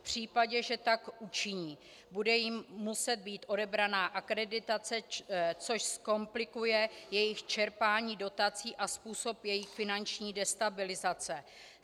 V případě, že tak učiní, bude jim muset být odebrána akreditace, což zkomplikuje jejich čerpání dotací a způsobí jejich finanční destabilizaci.